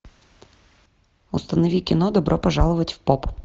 установи кино добро пожаловать в поп